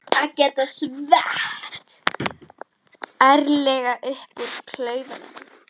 Að geta skvett ærlega úr klaufunum!